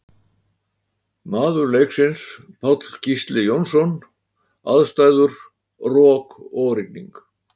Maður leiksins Páll Gísli Jónsson Aðstæður Rok og rigning.